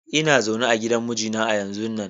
lna zaune a gidan mijina a yanzun nan.